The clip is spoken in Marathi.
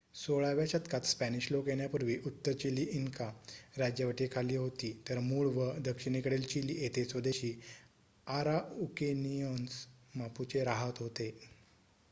16 व्या शतकात स्पॅनिश लोक येण्यापूर्वी उत्तर चिली इनका राज्यवटीखाली होती तर मूळ व दक्षिणेकडील चिली येथे स्वदेशी आराउकेनिअन्स मापुचे रहात होते